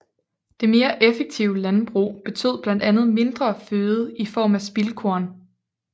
Det mere effektive landbrug betød blandt andet mindre føde i form af spildkorn